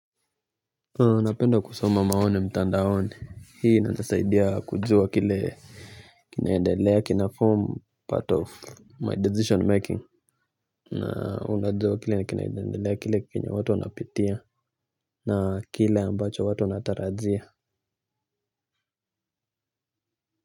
Napenda kusoma maoni mtandaoni. Hii ina nisaidia kujua kile kinaendelea kinaform part of my decision making. Na unajuwa kile kinaendelea kila kenye watu wanapitia, na kile ambacho watu wanatarajia.